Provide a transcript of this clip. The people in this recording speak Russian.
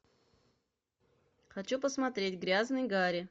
хочу посмотреть грязный гарри